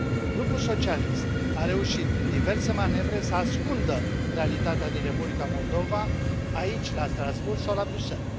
Grupul socialist a reușit prin diverse manevre să ascundă realitatea din Republica Moldova aici, la Strasbourg, sau la Bruxelles.